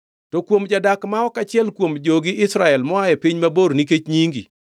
“To kuom jadak ma ok achiel kuom jogi Israel moa e piny mabor nikech nyingi,